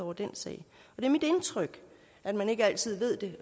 og den sag det er mit indtryk at man ikke altid ved det